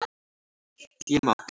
Ég er mát.